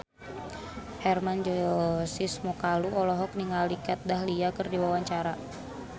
Hermann Josis Mokalu olohok ningali Kat Dahlia keur diwawancara